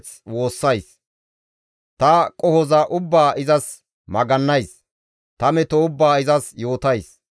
Ta qohoza ubbaa izas magannays; ta meto ubbaa izas yootays.